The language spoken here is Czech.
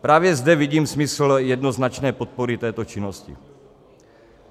Právě zde vidím smysl jednoznačné podpory této činnosti.